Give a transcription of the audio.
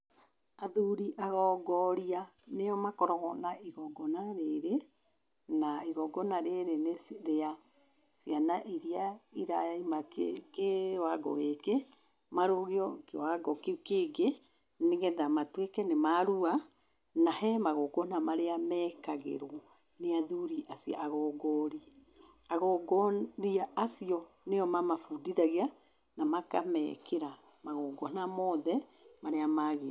Athuri agongoria nĩo makoragwo na igongoona rĩrĩ, na igongoona rĩrĩ nĩ rĩa ciana iria iraima kĩwango gĩkĩ, marũgio kĩwango kĩu kĩngĩ nĩgetha matuĩke nĩ marua. Na he magongoona marĩa meekagĩrwo nĩ athuri acio agongoori. Agongooria acio nĩo mamabundithagia na makameekĩra magongoona mothe marĩa maagĩrĩire.